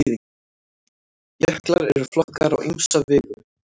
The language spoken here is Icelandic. jöklar eru flokkaðir á ýmsa vegu